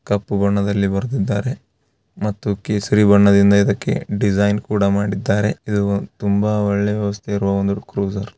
ಕಪ್ಪು ಬಣ್ಣದಲ್ಲಿ ಬರೆದಿದ್ದಾರೆ ಮತ್ತು ಕೇಸರಿ ಬಣ್ಣದಿಂದ ಇದಕ್ಕೆ ಡಿಸೈನ್‌ ಕೂಡ ಮಾಡಿದ್ದಾರೆ ಇದು ತುಂಬಾ ಒಳ್ಳೆ ವ್ಯವಸ್ಥೆ ಇರುವ ಒಂದು ಕ್ರೂಸರ್ .